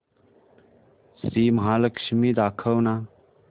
श्री महालक्ष्मी दाखव ना